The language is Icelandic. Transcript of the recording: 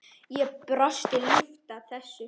Ég brosi ljúft að þessu.